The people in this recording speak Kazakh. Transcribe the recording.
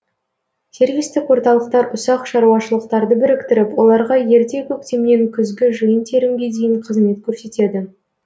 сервистік орталықтар ұсақ шаруашылықтарды біріктіріп оларға ерте көктемнен күзгі жиын терімге дейін қызмет көрсетеді